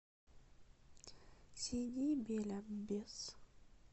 сиди бель аббес